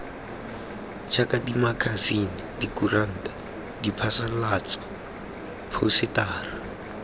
jaaka dimakasine dikuranta diphasalatso phousetara